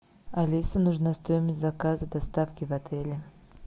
алиса нужна стоимость заказа доставки в отеле